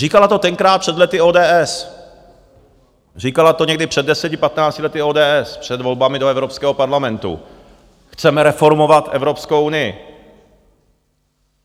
Říkala to tenkrát před lety ODS, říkala to někdy před deseti, patnácti lety ODS před volbami do Evropského parlamentu: Chceme reformovat Evropskou unii.